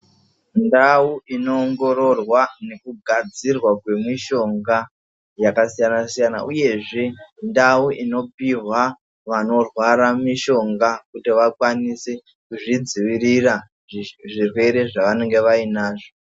Ndau inoongororwa nekugadzirwa kwemishonga yakasiyana siyana uyezve ndau inopihwa vanorwara mishonga kuti vakwanise kuzvidzivirira zvirwere zvavanenge vainazvo.